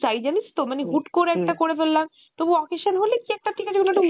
তাই জানিস তো মানে হুট্ করে একটা করে ফেললাম তবু এ occasion হলে কি একটা ঠিকাছে কোনো একটা